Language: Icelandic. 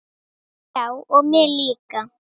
Já og mig líka.